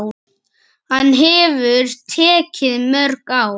Hann hefur tekið mörg ár.